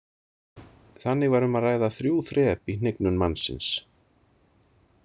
Þannig var um að ræða þrjú þrep í hnignun mannsins.